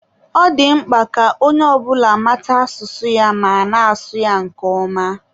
Ọ dị mkpa ka onye ọ bụla mata asụsụ ya ma na-asụ ya nke ọma